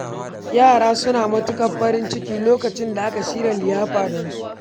Yara suna matuƙar farin ciki lokacin da aka shirya liyafa don su.